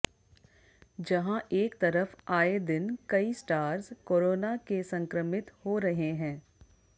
जहां एक तरफ आए दिन कई स्टार्स कोरोना के संक्रमित हो रहे हैं